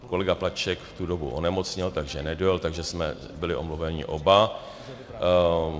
Kolega Plaček v tu dobu onemocněl, takže nedojel, takže jsme byli omluveni oba.